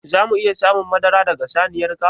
Za mu iya samun madara daga saniyar ka?